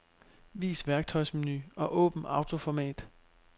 Vis værktøjsmenu og åbn autoformat.